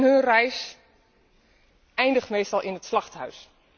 Hun reis eindigt meestal in het slachthuis.